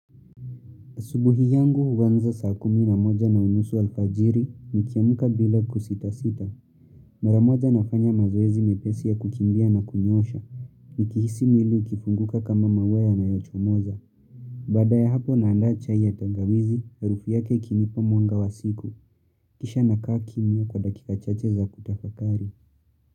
Asubuhi yangu huanza saa kumi na moja na unusu alfajiri nikiamka bila kusita sita. Maramoja nafanya mazoezi mepesi ya kukimbia na kunyoosha. Nikihisi mwili ukifunguka kama maua yanayochomoza. Baadaya hapo naanda chai ya tangawizi harufu yake ikinipa mwanga wa siku. Kisha nakaa kimya kwa dakika chache za kutafakari.